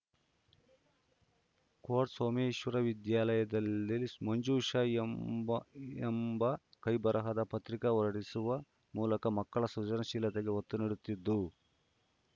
coat Someshwara ವಿದ್ಯಾಲಯದಲ್ಲಿ ಮಂಜೂಷ ಎಂಬ ಎಂಬ ಕೈಬರಹದ ಪತ್ರಿಕೆ ಹೊರಡಿಸುವ ಮೂಲಕ ಮಕ್ಕಳ ಸೃಜನಶೀಲತೆಗೆ ಒತ್ತು ನೀಡುತ್ತಿದ್ದು